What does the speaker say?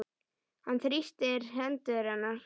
Hann þrýstir hendur hennar.